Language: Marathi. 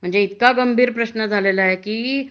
म्हणजे इतका गंभीर प्रश्न झालेला आहे की